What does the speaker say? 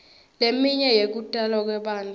leminye yekutalwa kwebantfu